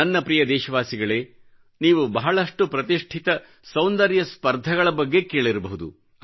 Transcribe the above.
ನನ್ನ ಪ್ರೀತಿಯ ದೇಶವಾಸಿಗಳೇನೀವು ಬಹಳಷ್ಟು ಪ್ರತಿಷ್ಠಿತ ಸೌಂದರ್ಯ ಸ್ಪರ್ಧೆಗಳ ಬಗ್ಗೆ ಕೇಳಿರಬಹುದು